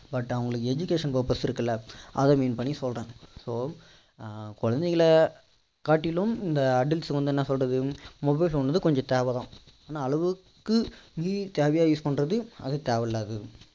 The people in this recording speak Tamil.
but அவங்களுக்கு education purpose இருக்குல அதை mean பண்ணி சொல்றேன் so குழந்தைகளை காட்டிலும் இந்த adults வந்து என்ன சொல்றது mobile phone வந்து கொஞ்சம் தேவைதான் ஆனா அளவுக்கு மீறி தேவையா ue பண்றது அது தேவை இல்லாதது